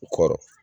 U kɔrɔ